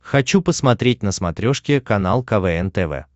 хочу посмотреть на смотрешке канал квн тв